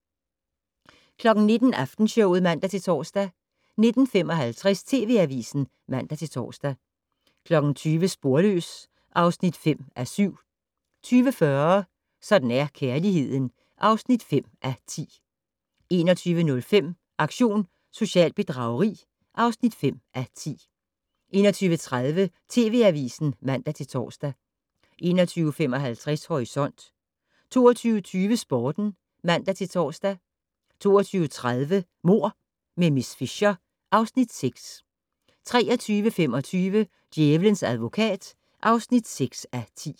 19:00: Aftenshowet (man-tor) 19:55: TV Avisen (man-tor) 20:00: Sporløs (5:7) 20:40: Sådan er kærligheden (5:10) 21:05: Aktion socialt bedrageri (5:10) 21:30: TV Avisen (man-tor) 21:55: Horisont 22:20: Sporten (man-tor) 22:30: Mord med miss Fisher (Afs. 6) 23:25: Djævelens advokat (6:10)